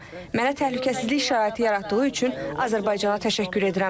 Mənə təhlükəsizlik şəraiti yaratdığı üçün Azərbaycana təşəkkür edirəm.